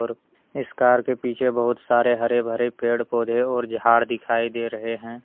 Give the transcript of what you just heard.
इस कार के पीछे बहुत सारे हरे भरे पेड़ पौधे और झाड़ दिखाई दे रहे है।